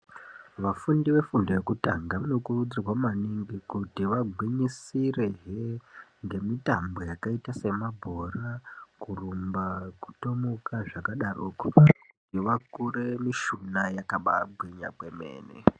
Vafundi vefundo yekutanga vanokurudzirwa maningi kuti vagwinyisire hee ngemitambo yakaita semabhora ,kurumba ,kutomuka zvakadaroko vakure mishuna yakaba gwinya kwemene.